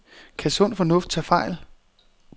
Kan sund fornuft tage fejl?